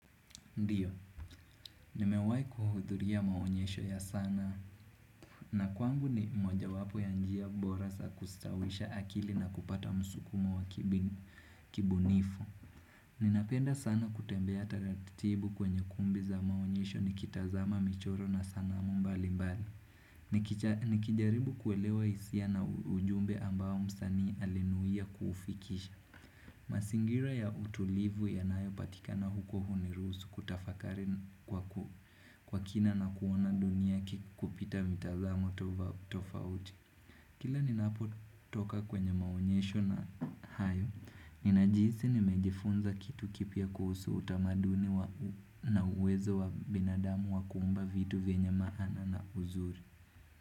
Ndiyo, nimewai kuhudhuriya maonyesho ya sana na kwangu ni moja wapo ya njia bora sa kustawisha akili na kupata msukumo wa kibunifu. Ninapenda sana kutembea taratibu kwenye kumbi za maonyesho ni kitazama michoro na sanamu mbali mbali. Nikijaribu kuelewa isia na ujumbe ambao msani alinuia kufikisha. Masingira ya utulivu yanayo patikana huko hunirusu kutafakari kwa ku. Kwa kina na kuona dunia kikupita mitazamo tofauti Kila ninapo toka kwenye maonyesho na hayo Nina jithi ni mejifunza kitu kipia kuhusu utamaduni na uwezo wa binadamu wakumba vitu vyenya maana na uzuri.